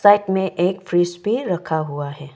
Side में एक fridge भी रखा हुआ है।